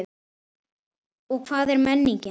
Og hvað er menning?